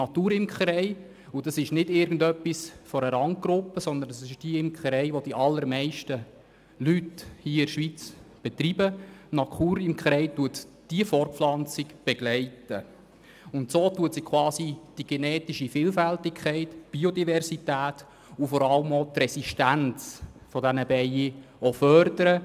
Die Naturimkerei – und das ist nicht eine Randgruppe, sondern die allermeisten Leute in der Schweiz betreiben diese Form der Imkerei – begleitet die Fortpflanzung und fördert so die genetische Vielfalt, die Biodiversität und vor allem auch die Resistenz der Bienen.